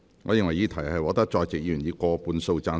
我認為議題獲得在席議員以過半數贊成。